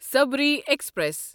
Sabari express